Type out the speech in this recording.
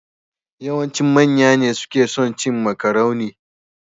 Yawancin manya ne suke son cin makarune.